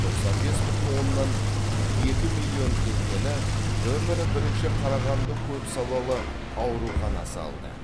тоқсан бес бүтін оннан екі миллион теңгені нөмірі бірінші қарағанды көпсалалы ауруханасы алды